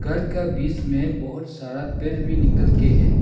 पहाड़ का बिच मे बहोत सारा पेर भी निकल के है।